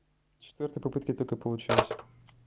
четвёртой попытки только получилось